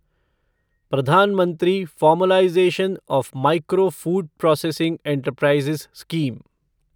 प्रधान मंत्री formalisation of micro food processing enterprises scheme